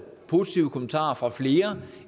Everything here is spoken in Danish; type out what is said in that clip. positive kommentarer fra flere